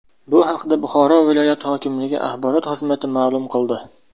Bu haqda Buxoro viloyat hokimligi axborot xizmati ma’lum qildi .